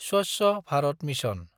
Swachh Bharat mission